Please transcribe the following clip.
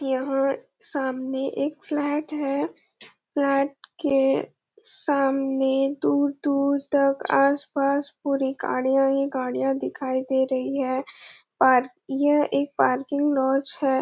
यहाँ सामने एक फ्लैट है फ्लैट के सामने दूर-दूर तक आसपास पूरी गाड़िया ही गाड़िया दिखाई दे रही है और ये एक पार्किंग लॉज है ।